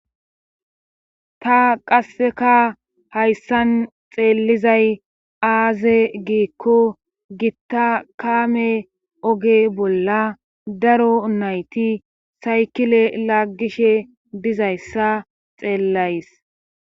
ta qasseka hayssan xeelizay aaze giikko gitta kaame oge bolla daro nayti saykile laggishe bizayssa xeellays